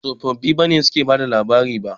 Ba tsofaffi ne suke bada tatsuniya.